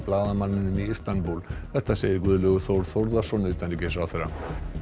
blaðamanninum í Istanbúl þetta segir Guðlaugur Þór Þórðarsson utanríkisráðherra